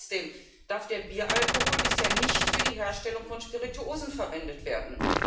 Aber trotzdem darf der Bieralkohol bisher nicht für die Herstellung von Spirituosen verwendet werden.